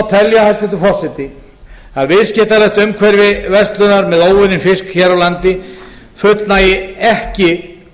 telja að viðskiptalegt umhverfi verslunar með óunninn fisk hér á landi fullnægir ekki